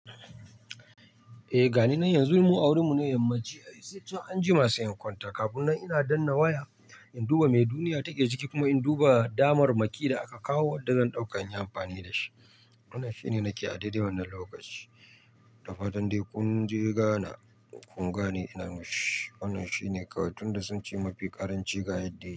Eh gani nan yanzu mu wurin mu ne, yammaci sai chan anjima sai in kwanta. Kafin nan ina danna waya in duba me duniya take ciki kuma in duba damar maki da aka kawo wadda zan dauka inyi amfani da shi. Wannan shine nake a daidai wannan lokaci. Da fatan dai kun je gana kun gane irin shi. Wannan shine kawai tun da sun ci mafi ƙaranci ga yadda yake.